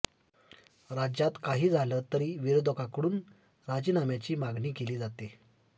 राज्यात काही झालं तरी विरोधकांकडून राजीनाम्याची मागणी केली जाते